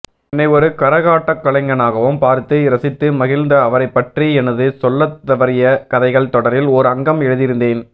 என்னை ஒரு கரகாட்டக்கலைஞனாகவும் பார்த்து இரசித்து மகிழ்ந்த அவரைப்பற்றி எனது சொல்லத்தவறிய கதைகள் தொடரில் ஓர்அங்கம் எழுதியிருந்தேன்